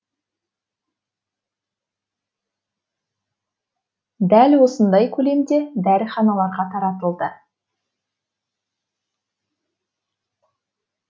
дәл осындай көлемде дәріханаларға таратылды